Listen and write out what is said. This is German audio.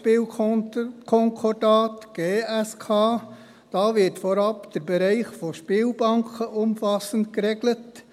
Hier wird vorab der Bereich der Spielbanken umfassend geregelt.